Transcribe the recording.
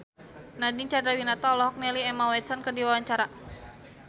Nadine Chandrawinata olohok ningali Emma Watson keur diwawancara